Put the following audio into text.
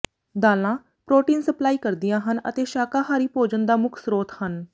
ਦਾਲਾਂ protein supply ਕਰਦੀਆਂ ਹਨ ਅਤੇ ਸ਼ਾਕਾਹਾਰੀ ਭੋਜਨ ਦਾ ਮੁੱਖ ਸਰੋਤ ਹਨ